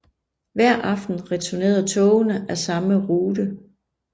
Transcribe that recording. Hver aften returnerede togene af samme rute